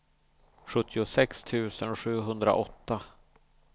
sjuttiosex tusen sjuhundraåtta